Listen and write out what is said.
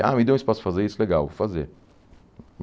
Ah, me deu espaço para fazer isso, legal, vou fazer.